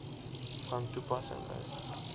van toepassing is